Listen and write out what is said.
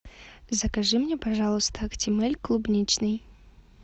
закажи мне пожалуйста актимель клубничный